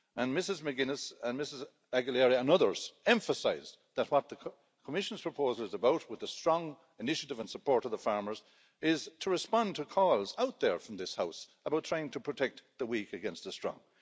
Ms McGuinness and Ms Aguilera, and others, emphasised that what the Commission's proposal is about, with a strong initiative and support of the farmers, is to respond to calls out there from this House about trying to protect the weak against the strong.